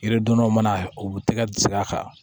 Yiridonnaw mana u tɛgɛ kan